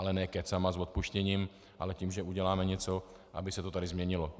Ale ne kecama s odpuštěním, ale tím, že uděláme něco, aby se to tady změnilo.